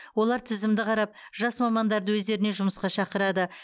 олар тізімді қарап жас мамандарды өздеріне жұмысқа шақырады